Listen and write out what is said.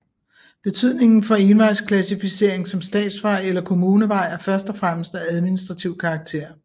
Betydningen for en vejs klassificering som statsvej eller kommunevej er først og fremmest af administrativ karakter